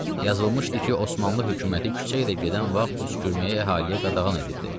Yazılmışdı ki, Osmanlı hökuməti küçə ilə gedən vaxt öskürməyi əhaliyə qadağan edibdir.